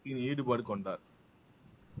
ஈடுபாடு கொண்டார்